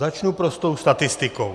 Začnu prostou statistikou.